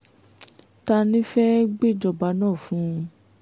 ta ni fẹ́ẹ́ gbéjọba náà fún un